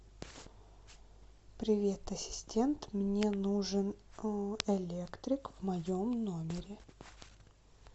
привет ассистент мне нужен электрик в моем номере